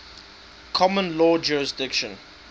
common law jurisdiction